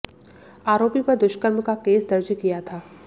आरोपी पर दुष्कर्म का केस दर्ज किया गया था